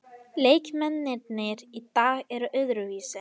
Leikmennirnir í dag eru öðruvísi.